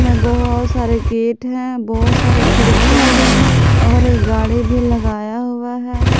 बहोत सारे गेट हैं बहोत सारे खिड़कियां भी हैं और एक गाड़ी भी लगाया हुआ है।